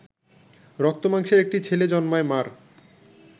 রক্তমাংসের একটি ছেলে জন্মায় মা’র